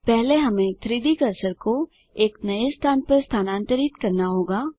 पहले हमें 3Dकर्सर को एक नए स्थान पर स्थानांतरित करना होगा